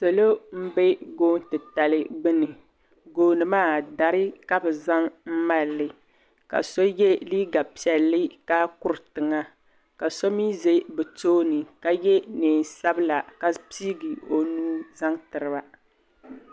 Salo m-be goon'titali gbuni gooni maa dari ka bɛ zaŋ mali li ka so ye liiga piɛlli ka kuri tiŋa ka so mi ʒe bɛ tooni ka ye neen'sabila ka piigi o nuu zaŋ tiri ba.